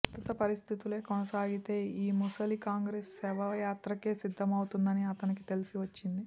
ప్రస్తుత పరిస్థితులే కొనసాగితే యీ ముసలి కాంగ్రెసు శవయాత్రకే సిద్ధమవుతోందని అతనికి తెలిసి వచ్చింది